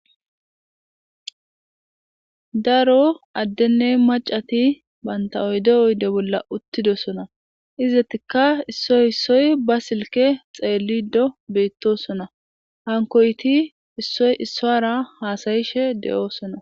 Daro adene mac'ati banta oyde oyde bola uthidosona izatika isioy isoy banta silke dhelido betosona hankoyti isoy isuwara hasa'ishe de'osona.